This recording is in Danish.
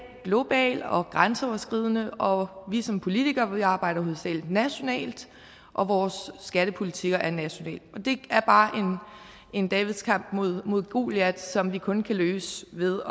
global og grænseoverskridende og vi som politikere arbejder hovedsagelig nationalt og vores skattepolitikker er nationale det er bare en davids kamp mod mod goliat som vi kun kan løse ved